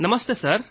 ನಮಸ್ತೆ ಸರ್